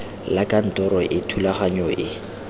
la kantoro e thulaganyo e